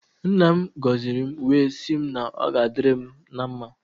Nna m goziri m wee sị m na ọ ga adịrị m na mmá.